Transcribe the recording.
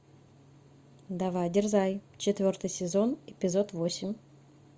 давай дерзай четвертый сезон эпизод восемь